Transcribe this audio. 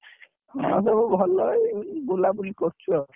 ହଁ, ସବୁ ଭଲ ଏଇ ବୁଲାବୁଲି, କରୁଛୁ ଆଉ।